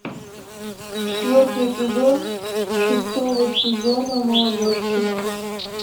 четвертый эпизод шестого сезона молодежки